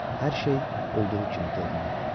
Hər şey olduğu kimi görünürdü.